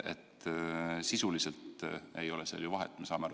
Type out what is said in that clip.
Sisuliselt ei ole sel ju vahet, me saame aru.